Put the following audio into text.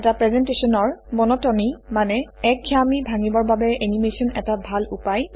এটা প্ৰেজেণ্টেশ্যনৰ মনটনী মানে একঘেয়ামী ভাঙিবৰ বাবে এনিমেচন এটা ভাল উপায়